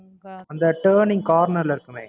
அந்த Turning corner ல இருக்குமே